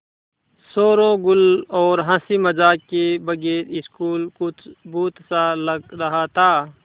शोरोगुल और हँसी मज़ाक के बगैर स्कूल कुछ भुतहा सा लग रहा था